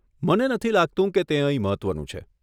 મને નથી લાગતું કે તે અહીં મહત્વનું છે.